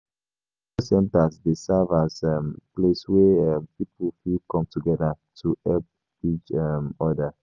Religious centres dey serve as um place wey um pipo fit come together to help each um oda